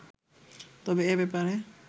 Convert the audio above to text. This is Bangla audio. তবে এ ব্যাপারে